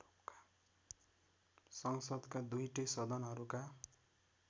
संसदका दुईटै सदनहरूका